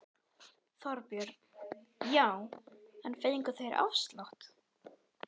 Þorbjörn: Já en fengu þeir afslátt?